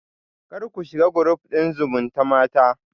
Kar ku shiga group din zumutamata